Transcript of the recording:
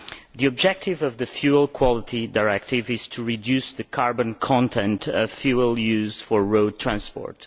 The objective of the Fuel Quality Directive is to reduce the carbon content of fuel used for road transport.